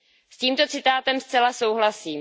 S tímto citátem zcela souhlasím.